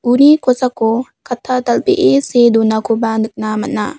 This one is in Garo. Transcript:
uni kosako katta dal·bee see donakoba nikna man·a.